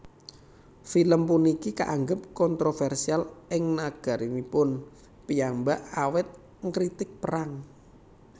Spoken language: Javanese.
Film puniki kaanggep kontrovèrsial ing nagaranipun piyambak awit ngritik perang